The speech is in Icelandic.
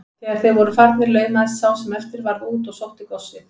Þegar þeir voru farnir laumaðist sá sem eftir varð út og sótti góssið.